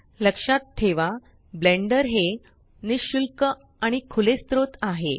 लक्षात ठेवा ब्लेंडर हे निशुल्क आणि खुले स्त्रोत आहे